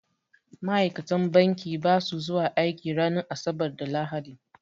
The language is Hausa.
Ma'aikatan banki ba sa zuwa aiki ranar asabar da lahadi